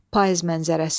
Payız mənzərəsi.